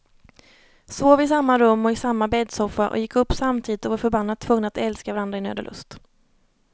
Sov i samma rum och i samma bäddsoffa och gick upp samtidigt och var förbannat tvungna att älska varandra i nöd och lust.